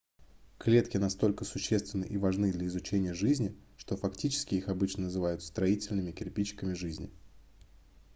клетки настолько существенны и важны для изучения жизни что фактически их обычно называют строительными кирпичиками жизни